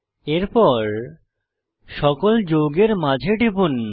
এরপর সকল যৌগের মাঝে টিপুন